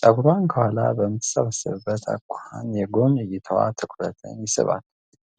ፀጉሯን ከኋላ በምትሰበስብበት አኳኋን የጎን እይታዋ ትኩረትን ይስባል።